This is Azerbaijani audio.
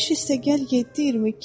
15 + 7 = 22.